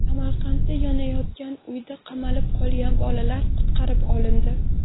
Samarqandda yonayotgan uyda qamalib qolgan bolalar qutqarib olindi.